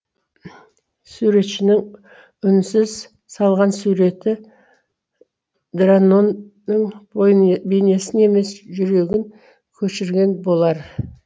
суретшінің үнсіз салған суреті дранон ның бейнесін емес жүрегін көшірген болар